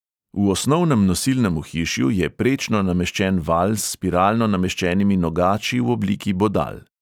V osnovnem nosilnem ohišju je prečno nameščen valj s spiralno nameščenimi nogači v obliki bodal.